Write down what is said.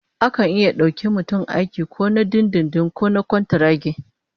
Akan dauki mutum aiki ko na dindindin ko na kwantaragi